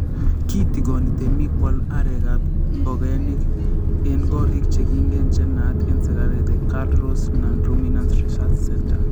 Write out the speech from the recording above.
Kitigoni temik koal arekab ngogaik en korik chekigenyen che naat en serkali the KALRO’S Non-Ruminant Research Centre.